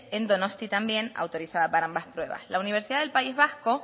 en donostia también autorizada para ambas pruebas la universidad del país vasco